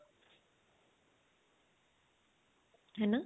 ਹੈਨਾ